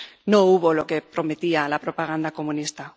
No hubo lo que prometía la propaganda comunista.